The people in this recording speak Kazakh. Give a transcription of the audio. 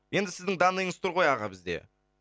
енді сіздің данныйыңыз тұр ғой аға бізде